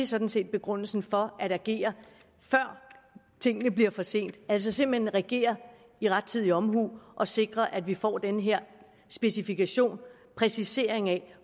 sådan set begrundelsen for at agere før det er for sent altså simpelt hen agere med rettidig omhu og sikre at vi får den her specifikation og præcisering af